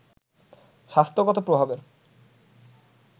স্বাস্থ্যগত প্রভাবের